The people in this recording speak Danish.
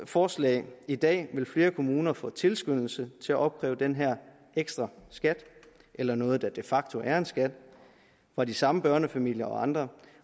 forslag i dag vil flere kommuner få tilskyndelse til at opkræve denne ekstra skat eller noget der de facto er en skat fra de samme børnefamilier og andre